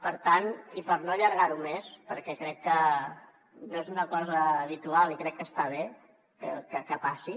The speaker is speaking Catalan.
per tant i per no allargar ho més perquè crec que no és una cosa habitual i crec que està bé que passi